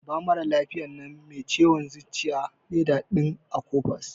Ba maralafiyan nan mai ciwon zuciya leda din Akopas.